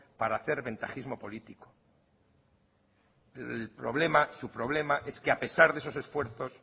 para hacer ventajismo político el problema su problema es que a pesar de esos esfuerzos